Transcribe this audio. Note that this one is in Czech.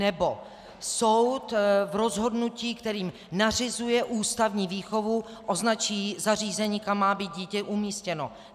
Nebo soud v rozhodnutí, kterým nařizuje ústavní výchovu, označí zařízení, kam má být dítě umístěno.